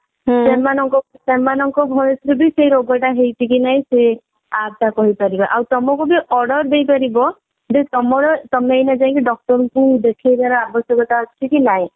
ସେମାନଙ୍କ ସେମାନଙ୍କ voice ରୁ ବି ସେ ରୋଗ ତା ହେଇଛି କି ନାହିଁ ସେ app ତା କହିପାରିବା ଆଉ ତମକୁ ବି order ଦେଇପାରିବ ଯେ ତମର ତମେ ଏଇନା ଯାଇଙ୍କି doctor ଙ୍କୁ ଦେଖେଇବାର ଆବଶ୍ୟକତା ଅଛି କି ନାହିଁ